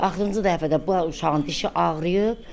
Axırıncı dəfə də bu uşağın dişi ağrıyıb.